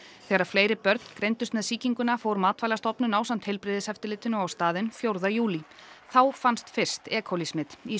þegar fleiri börn greindust með sýkinguna fór Matvælastofnun ásamt heilbrigðiseftirlitinu á staðinn fjórða júlí þá fannst fyrst e coli smit í